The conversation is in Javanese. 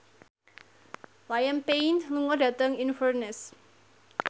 Liam Payne lunga dhateng Inverness